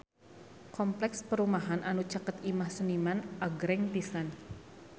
Kompleks perumahan anu caket Imah Seniman agreng pisan